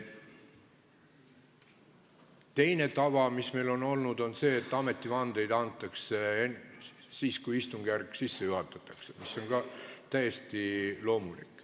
Teine tava, mis meil on olnud, on selline, et ametivandeid antakse siis, kui istungjärk sisse juhatatakse, mis on ka täiesti loomulik.